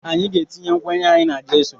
Anyị ga-etinye nkwenye anyị n’jesu